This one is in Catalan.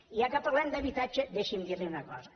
i ja que parlem d’habitatge deixi’m dir li una cosa